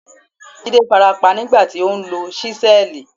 Jídé farapa nígbà tí ó ń lo ṣísẹ́ẹ̀lì.